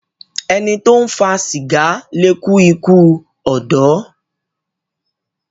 Ẹní tó ń fa sìgá lẹ kú ikú odò